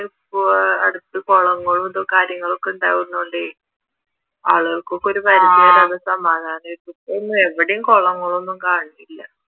ഇപ്പൊ അടുത്ത് കുളങ്ങളും കാര്യങ്ങളൂം ഒക്കെ ഉണ്ടാവുന്നത് കൊണ്ടേ ആളുകൾക്ക് ഒക്കെ ഒരു പരിധി വരെ സമാധാനമായിരുന്നു ഇപ്പൊ എവിടെയും കുളങ്ങളൊന്നും കാണണില്ല